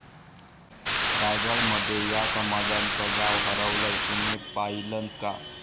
रायगडमध्ये या समाजाचं गाव हरवलंय.. तुम्ही पाहिलंत का?